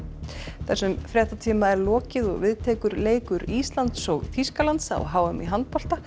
þessum fréttatíma er lokið og við tekur leikur Íslands og Þýskalands á h m í handbolta